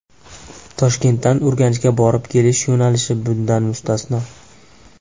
Toshkentdan Urganchga borib-kelish yo‘nalishi bundan mustasno.